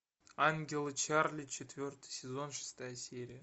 ангелы чарли четвертый сезон шестая серия